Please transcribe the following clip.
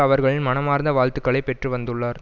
அவர்களின் மனமார்ந்த வாழ்த்துக்களை பெற்று வந்துள்ளார்